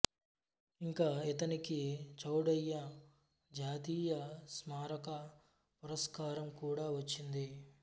ఇంకా ఇతనికి చౌడయ్య జాతీయ స్మారక పురస్కారం కూడా వచ్చింది